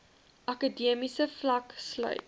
akademiese vlak sluit